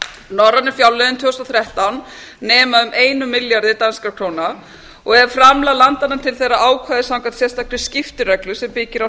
norrænu fjárlögin tvö þúsund og þrettán nema um einum milljarði danskra króna og ef framlag landanna til þeirra ákvæða samkvæmt sérstakri skiptireglu sem byggir á